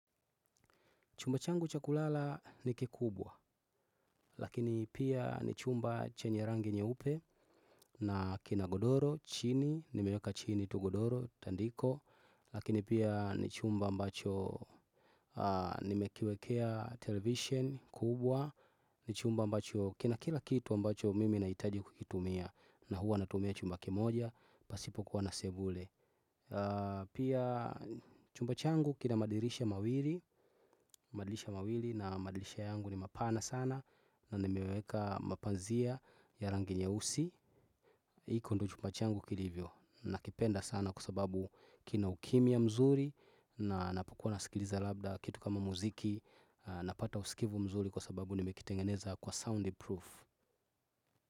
Chumba changu cha kulala ni kikubwa, lakini pia ni chumba chenye rangi nyeupe na kina godoro, chini, nimeweka chini tu godoro, tandiko, lakini pia ni chumba ambacho nime kiwekea television kubwa, ni chumba ambacho kina kila kitu ambacho mimi nahitaji kukitumia na huwa natumia chumba kimoja, pasipo kuwa na sebule. Pia chumba changu kina madirisha mawili. Madirisha mawili na madirisha yangu ni mapana sana. Na nimeweka mapazia ya rangi nyeusi hiko ndo chumba changu kilivyo. Nakipenda sana kwa sababu kina ukimya mzuri. Na ninapokuwa na sikiliza labda kitu kama muziki napata usikivu mzuri kwa sababu nimekitengeneza kwa soundproof.